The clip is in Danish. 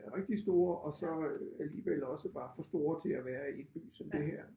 Rigtig store og så alligevel også var for store til at være i en by som det her